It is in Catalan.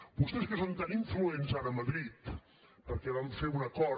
vostès que són tan influents ara a madrid perquè van fer un acord